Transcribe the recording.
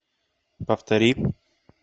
повтори